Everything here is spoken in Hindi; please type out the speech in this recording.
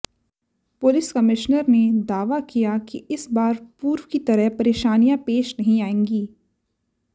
पुलिस कमिश्नर ने दावा किया कि इस बार पूर्व की तरह परेशानियां पेश नहीं आएंगी